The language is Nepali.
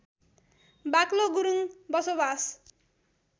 बाक्लो गुरूङ बसोबास